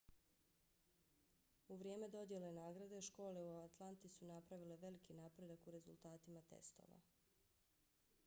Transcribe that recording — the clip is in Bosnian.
u vrijeme dodjele nagrade škole u atlanti su napravile veliki napredak u rezultatima testova